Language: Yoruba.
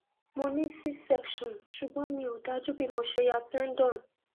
mo ní c section ṣùgbọn mi ò dájú bí mo ṣe ya tendon